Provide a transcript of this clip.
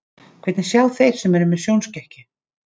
Hvernig sjá þeir sem eru með sjónskekkju?